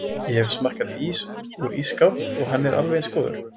Ég hef smakkað ís úr ísskáp og hann er alveg eins góður